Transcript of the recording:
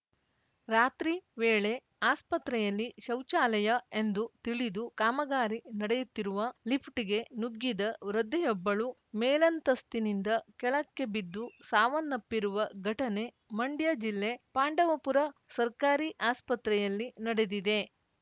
ರಾತ್ರಿ ವೇಳೆ ಆಸ್ಪತ್ರೆಯಲ್ಲಿ ಶೌಚಾಲಯ ಎಂದು ತಿಳಿದು ಕಾಮಗಾರಿ ನಡೆಯುತ್ತಿರುವ ಲಿಫ್ಟ್‌ಗೆ ನುಗ್ಗಿದ ವೃದ್ಧೆಯೊಬ್ಬಳು ಮೇಲಂತಸ್ತಿನಿಂದ ಕೆಳಕ್ಕೆ ಬಿದ್ದು ಸಾವನ್ನಪ್ಪಿರುವ ಘಟನೆ ಮಂಡ್ಯ ಜಿಲ್ಲೆ ಪಾಂಡವಪುರ ಸರ್ಕಾರಿ ಆಸ್ಪತ್ರೆಯಲ್ಲಿ ನಡೆದಿದೆ